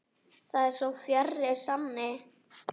Það er svo fjarri sanni.